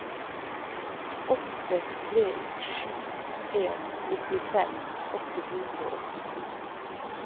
åtte tre sju en nittifem åtte hundre og åttito